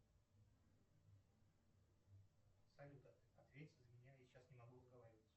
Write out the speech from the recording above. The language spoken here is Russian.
салют ответь за меня я сейчас не могу разговаривать